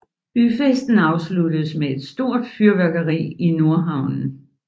Byfesten afsluttes med et stort fyrværkeri i Nordhavnen